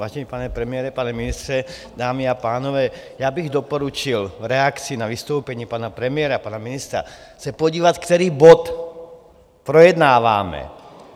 Vážený pane premiére, pane ministře, dámy a pánové, já bych doporučil v reakci na vystoupení pana premiéra, pana ministra se podívat, který bod projednáváme.